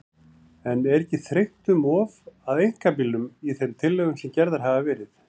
En er ekki þrengt um of að einkabílnum í þeim tillögum sem gerðar hafa verið?